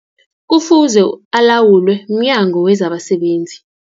Kufuze alawulwe, mNyango wezabaSebenzi.